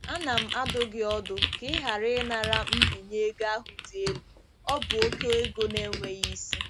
Ana m adụ gị ọdụ ka ị ghara ịnara mbinye ego ahụ dị elu, ọ bụ oke ego na-enweghị isi.